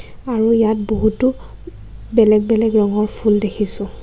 আৰু ইয়াত বহুতো বেলেগ বেলেগ ৰঙৰ ফুল দেখিছোঁ।